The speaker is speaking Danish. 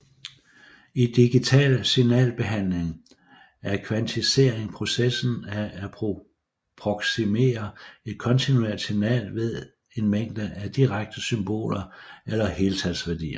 I digital signalbehandling er kvantisering processen at approksimere et kontinuert signal ved en mængde af diskrete symboler eller heltalsværdier